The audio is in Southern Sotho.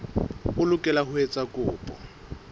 o lokela ho etsa kopo